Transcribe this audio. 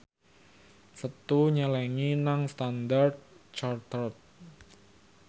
Setu nyelengi nang Standard Chartered